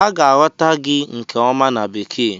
A ga-aghọta gị nke ọma na Bekee.